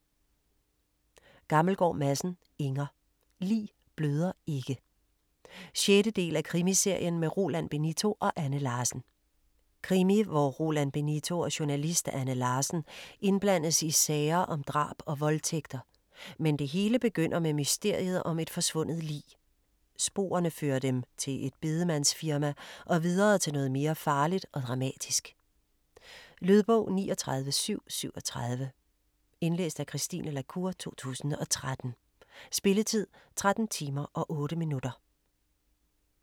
Gammelgaard Madsen, Inger: Lig bløder ikke 6. del af Krimiserien med Roland Benito og Anne Larsen. Krimi hvor Roland Benito og journalist Anne Larsen indblandes i sager om drab og voldtægter, men det hele begynder med mysteriet om et forsvundet lig. Sporene fører dem til et bedemandsfirma og videre til noget mere farligt og dramatisk. Lydbog 39737 Indlæst af Christine la Cour, 2013. Spilletid: 13 timer, 8 minutter.